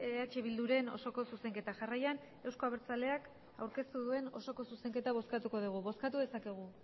eh bilduren osoko zuzenketa jarraian euzko abertzaleak aurkeztu duen osoko zuzenketa bozkatuko dugu bozkatu dezakegu